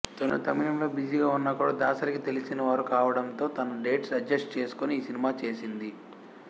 తను తమిళంలో బిజీగా ఉన్నా కూడా దాసరికి తెలిసినవారు కావడంతో తన డేట్స్ అడ్జస్ట్ చేసుకుని ఈ సినిమా చేసింది